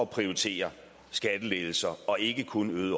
prioriterer skattelettelser og ikke kun øget